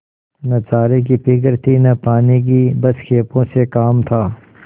न चारे की फिक्र थी न पानी की बस खेपों से काम था